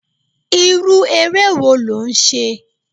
Irú eré wo lò ń ṣe?